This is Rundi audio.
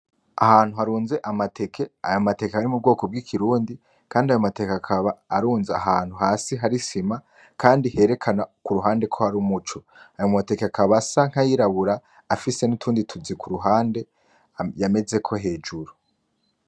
Ahantu harunze amateke. Ayo mateke ari mu bwoko bw’ikirundi kandi ayo mateke akaba arunze hasi ahantu hari isima kandi herekana kuruhande ko hari umuco. Ayo mateke akaba asa nk’ayirabura afise n’utundi tuzi kuruhande yamezeko hejuru.